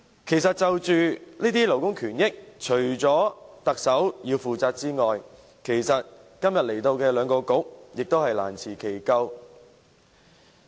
關於這些勞工權益，除了特首要負責外，今天前來本會的兩個政策局亦難辭其咎。